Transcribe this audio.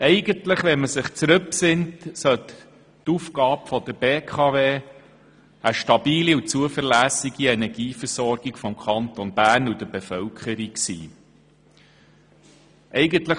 Eigentlich besteht die Aufgabe der BKW darin, eine stabile und zuverlässige Energieversorgung des Kantons Bern und dessen Bevölkerung sicherzustellen.